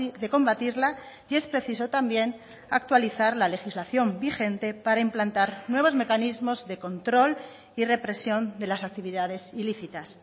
de combatirla y es preciso también actualizar la legislación vigente para implantar nuevos mecanismos de control y represión de las actividades ilícitas